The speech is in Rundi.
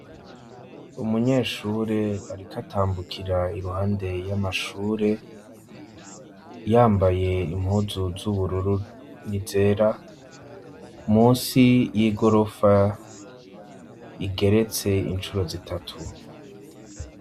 Umunyeshure arikatambukira iruhande y'amashure yambaye impuzu z'ubururu nizera munsi y'igorofa igeretse inshuro zitatu.